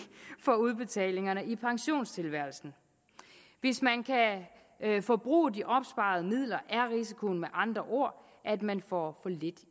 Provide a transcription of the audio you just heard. for udbetalingerne i pensionstilværelsen hvis man kan forbruge de opsparede midler er risikoen med andre ord at man får for lidt